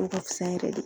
O ka fisa yɛrɛ de